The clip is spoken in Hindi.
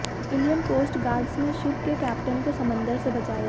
इंडियन कोस्ट गार्डस ने शिप के कैप्टेन को समंदर से बचाया